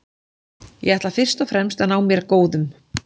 Ég ætla fyrst og fremst að ná mér góðum.